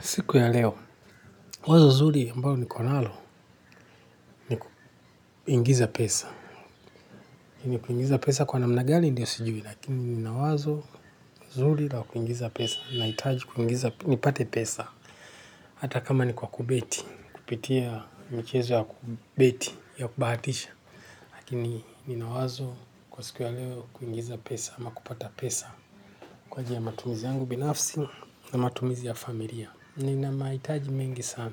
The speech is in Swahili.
Siku ya leo, wazo zuri ambalo nikonalo ni kuingiza pesa. Ni kuingiza pesa kwa namna gani ndio sijui lakini nina wazo zuri la kuingiza pesa. Nahitaji kuingiza, nipate pesa. Hata kama ni kwa kubeti, kupitia michezo ya kubeti ya kubahatisha. Lakini nina wazo kwa siku ya leo kuingiza pesa ama kupata pesa. Kwa ajili ya matumizi yangu binafsi na matumizi ya familia. Nina mahitaji mengi sana.